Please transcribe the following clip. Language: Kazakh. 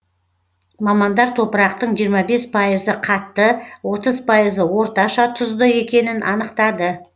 мамандар топырақтың жиырма бес пайызы қатты отыз пайызы орташа тұзды екенін анықтады